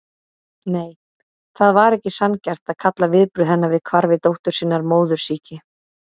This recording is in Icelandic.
Nei, það var ekki sanngjarnt að kalla viðbrögð hennar við hvarfi dóttur sinnar móðursýki.